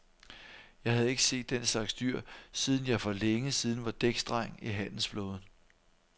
Jeg havde ikke set den slags dyr, siden jeg for længe siden var dæksdreng i handelsflåden.